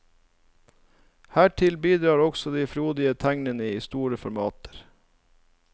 Hertil bidrar også de frodige tegningene i store formater.